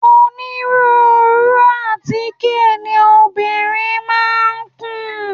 Onírúurú àtíkè ni obìnrin máa ń kùn.